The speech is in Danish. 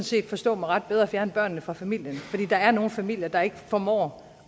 set forstå mig ret bedre at fjerne børnene fra familien for der er nogle familier der ikke formår